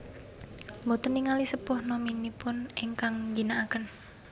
Boten ningali sepuh nomipun engkang ngginaaken